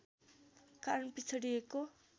कारण पिछडिएको